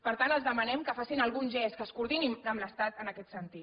per tant els demanem que facin algun gest que es coordinin amb l’estat en aquest sentit